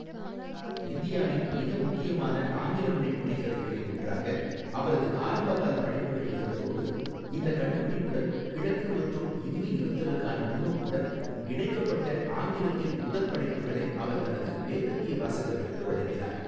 இந்தியாவின் மிக முக்கியமான ஆங்கில மொழி புனைகதைகளில் ஒன்றாக அவரது ஆரம்பகால படைப்புகள் இருந்ததோடு, இந்த கண்டுபிடிப்புடன், கிழக்கு மற்றும் இந்து இருத்தலுக்கான முன்னோக்குடன் இணைக்கப்பட்ட ஆங்கிலத்தில் முதல் படைப்புகளை அவர் தனது மேற்கத்திய வாசகர்களுக்கு வழங்கினார்.